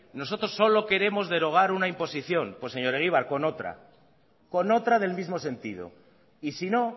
nosotros solo queremos derogar una imposición pues señor egibar con otra con otra del mismo sentido y sino